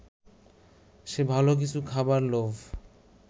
সে ভালো কিছু খাবার লোভ